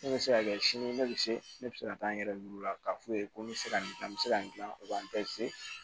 Ne bɛ se ka kɛ sini ne bɛ se ne bɛ se ka taa n yɛrɛ d'u la k'a f'u ye ko n bɛ se ka nin gilan n bɛ se ka gilan u b'an